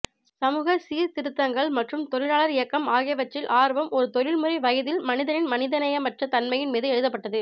சமூக சீர்திருத்தங்கள் மற்றும் தொழிலாளர் இயக்கம் ஆகியவற்றில் ஆர்வம் ஒரு தொழில்முறை வயதில் மனிதனின் மனிதநேயமற்ற தன்மையின் மீது எழுதப்பட்டது